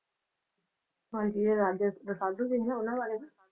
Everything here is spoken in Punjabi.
ਹਾਂਜੀ ਜਿਹੜੇ Raja Rasalu ਸੀਗੇ ਨਾ ਉਹਨਾਂ ਬਾਰੇ ਨਾ